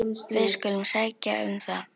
Við skulum sækja um það.